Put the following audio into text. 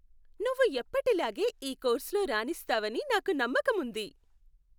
నువ్వు ఎప్పటిలాగే ఈ కోర్సులో రాణిస్తావని నాకు నమ్మకం ఉంది.